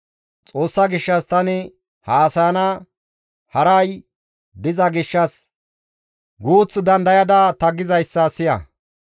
«Xoossa gishshas tani haasayana haray diza gishshas guuth dandayada ta gizayssa siya.